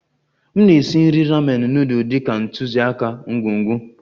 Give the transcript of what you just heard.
M na-esi nri ramen nudul dị ka ntụziaka ngwugwu